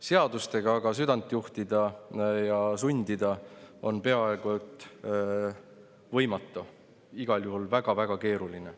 Seadustega aga südant juhtida ja sundida on peaaegu et võimatu, igal juhul väga-väga keeruline.